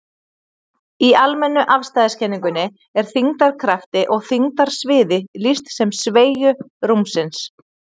Í almennu afstæðiskenningunni er þyngdarkrafti og þyngdarsviði lýst sem sveigju rúmsins.